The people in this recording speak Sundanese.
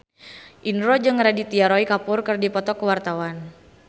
Indro jeung Aditya Roy Kapoor keur dipoto ku wartawan